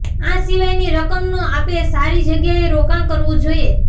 આ સિવાયની રકમનું આપે સારી જગ્યાએ રોકાણ કરવું જોઇએ